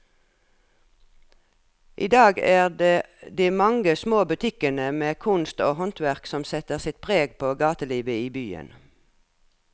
I dag er det de mange små butikkene med kunst og håndverk som setter sitt preg på gatelivet i byen.